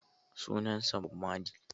Sunansa Bob marley.